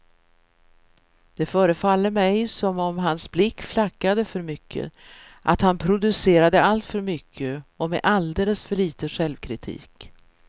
Det förefaller mig som om hans blick flackade för mycket, att han producerade alltför mycket och med alldeles för lite självkritik.